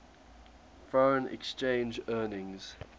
foreign exchange earnings